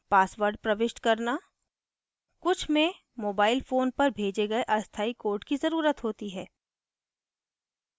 password प्रविष्ट करना कुछ में mobile phone पर भेजे गए अस्थायी code की ज़रुरत होती है